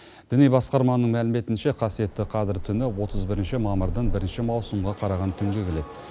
діни басқарманың мәліметінше қасиетті қадір түні отыз бірінші мамырдан бірінші маусымға қараған түнге келеді